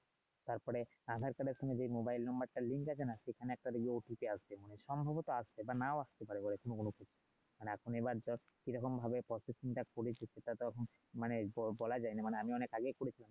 তারপরে আধার কাডার সময়ে যে মোবাইল নাম্বারটার আছে না সেখানে একটা আসবে সম্ভবত আসবে আবার না ও আসতে পারে বলে মূলত এখন এবার ধর কি রকমভাবে টা করেছে সেটা তো মানে বলা যায় না মানে আমি আগে করেছি